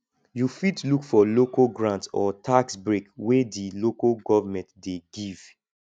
you fit look for local grant or tax break wey di local government dey give